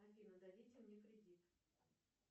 афина дадите мне кредит